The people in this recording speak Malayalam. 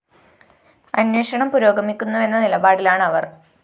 അന്വേഷണം പുരോഗമിക്കുന്നുവെന്ന നിലപാടിലാണ് അവര്‍